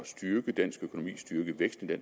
styrke dansk økonomi at styrke væksten i